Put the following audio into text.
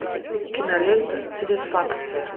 кинолента сатисфакция